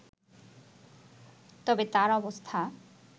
তবে তার অবস্থা